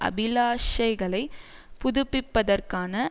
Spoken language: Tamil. அபிலாஷைகளைப் புதுப்பிப்பதற்கான